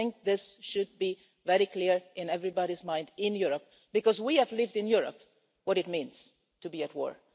I think this should be very clear in everybody's mind in Europe, because we have lived in Europe what it means to be at war.